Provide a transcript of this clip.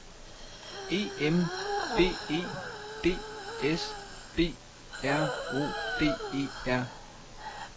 E M B E D S B R O D E R